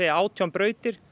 átján brautir